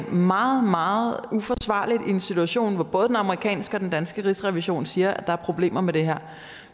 meget meget uforsvarligt i en situation hvor både den amerikanske og den danske rigsrevision siger at der er problemer med det her